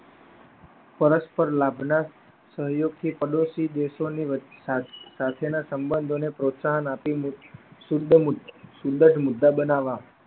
પરસ્પર લાભ ના સહયોગ થી પડોસી દેશો ની સાથેના સબંધો ને પ્રોત્સાહન આપી ને સુંદર મુદ્દા બનાવવા.